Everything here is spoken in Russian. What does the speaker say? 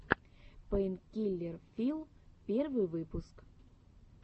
пэйнкиллер филл первый выпуск